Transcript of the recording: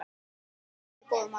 Og mikið varstu góður maður.